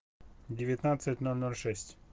девятнадцать ноль ноль шесть